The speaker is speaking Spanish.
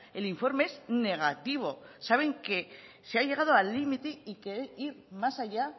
el informe es negativo saben que se ha llegado al límite y querer ir más allá